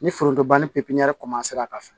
Ni foronto ban ni pipiniyɛri a ka fɛ